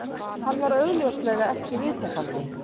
Hann var augljóslega ekki viðtakandinn